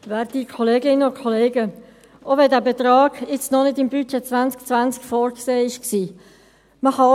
Auch wenn dieser Betrag noch nicht im Budget 2020 vorgesehen war: